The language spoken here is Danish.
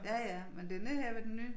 Ja ja men det nede her ved den nye